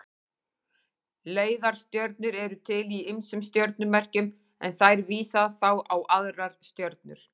Leiðarstjörnur eru til í ýmsum stjörnumerkjum en þær vísa þá á aðrar stjörnur.